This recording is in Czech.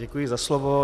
Děkuji za slovo.